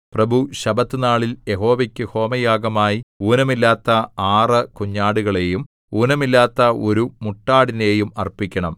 പ്രഭു ശബ്ബത്തുനാളിൽ യഹോവയ്ക്ക് ഹോമയാഗമായി ഊനമില്ലാത്ത ആറ് കുഞ്ഞാടുകളെയും ഊനമില്ലാത്ത ഒരു മുട്ടാടിനെയും അർപ്പിക്കണം